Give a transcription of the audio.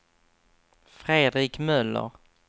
Fredrik Möller